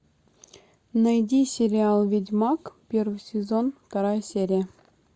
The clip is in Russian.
найди сериал ведьмак первый сезон вторая серия